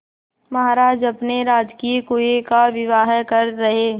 महाराज अपने राजकीय कुएं का विवाह कर रहे